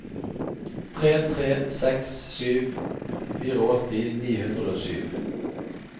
tre tre seks sju åttifire ni hundre og sju